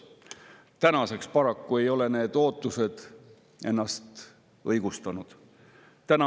Tänaseks ei ole need ootused ennast paraku õigustanud.